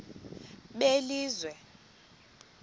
belizwe